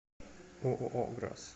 ооо грас